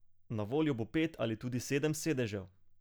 Na voljo bo pet ali tudi sedem sedežev.